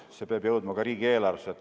See peab jõudma ka riigieelarvesse.